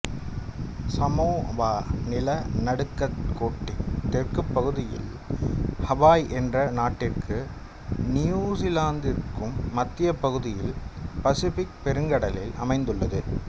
Samoa நிலநடுக்கோட்டின் தெற்குப் பகுதியில் ஹவாய் என்ற நாட்டிற்கும் நியுசிலாந்திற்கும் மத்தியப் பகுதியில் பசிபிக் பெருங்கடலில் அமைந்துள்ளது